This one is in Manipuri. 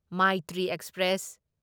ꯃꯥꯢꯇ꯭ꯔꯤ ꯑꯦꯛꯁꯄ꯭ꯔꯦꯁ